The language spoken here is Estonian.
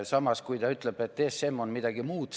Samas, ta ütleb, et ESM on midagi muud.